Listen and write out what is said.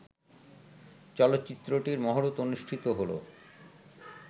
চলচ্চিত্রটির মহরত অনুষ্ঠিত হলো